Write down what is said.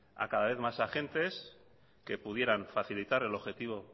a cada vez más agentes que pudieran facilitar el objetivo